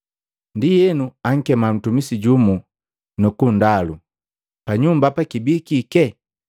Ndienu ankema mtumisi jumu, nukundalu, ‘Panyumba hapa kibikike?’